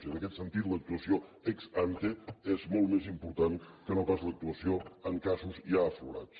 i en aquest sentit l’actuació ex antemolt més important que no pas l’actuació en casos ja aflorats